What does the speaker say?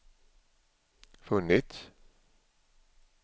funnits